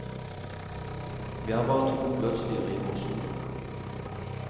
Vi er bare to bløtdyr i vårsolen.